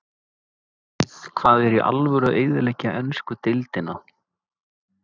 Vitið þið hvað er í alvöru að eyðileggja ensku deildina?